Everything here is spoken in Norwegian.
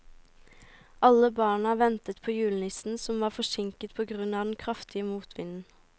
Alle barna ventet på julenissen, som var forsinket på grunn av den kraftige motvinden.